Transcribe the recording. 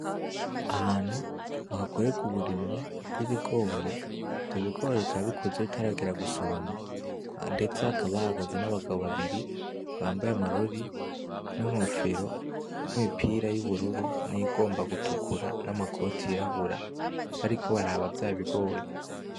Ahantu bakorerwamwo uburimyi rw'ibigori ivyo bigori bikaba bikuze bitaragera gusoromwa ndetse hakaba hahagaze n'abagabo babiri bambaye amarori n'inkofero nimipira y'ubururu niyigomba gutukura na makoti y'irabura bariko baraba vyab'ibigori.